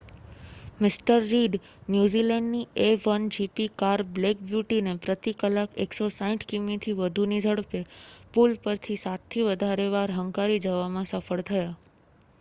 મિ Reed ન્યૂઝીલૅન્ડની A1GP car black બ્યૂટીને પ્રતિ કલાક 160 કિમિથી વધુની ઝડપે પૂલ પરથી સાતથી વધારે વાર હંકારી જવામાં સફળ થયા